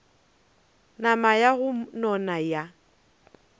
nama ya go nona ya